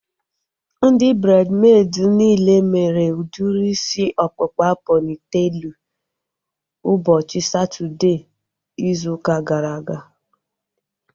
Ndị braidmeid niile mere udiri isi ọkpụkpa pọnitelu ụbọchị Satọdee izu ụka gara aga